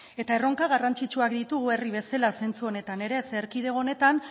erronka garrantzitsuak ditugu herri bezala zentzu honetan ere zeren eta erkidego honetan